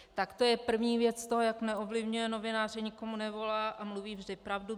Tak to je první věc toho, jak neovlivňuje novináře, nikomu nevolá a mluví vždy pravdu.